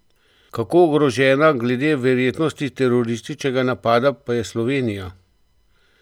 Kako ogrožena glede verjetnosti terorističnega napada pa je Slovenija?